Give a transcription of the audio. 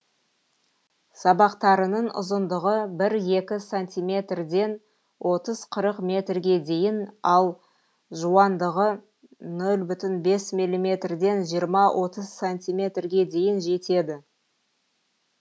сабақтарының ұзындығы бір екі сантиметрден отыз қырық метрге дейін ал жуандығы нөл бүтін бес милиметрден жиырма отыз сантиметрге дейін жетеді